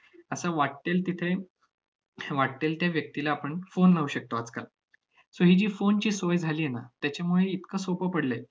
असं वाट्टेल तिथे अश्या वाट्टेल त्या व्यक्तीला आपण phone लावू शकतो आजकाल. so ही जी phone ची सोय झाली आहे ना, त्याच्यामुळे इतकं सोपं पडलंय